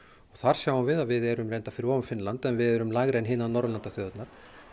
þar sjáum við að við erum fyrir ofan Finnland en við erum lægri en hinar Norðurlandaþjóðirnar